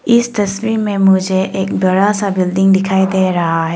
इस तस्वीर में मुझे एक बड़ा सा बिल्डिंग दिखाई दे रहा है।